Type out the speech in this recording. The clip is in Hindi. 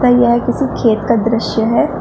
यह किसी खेत का दृश्य है।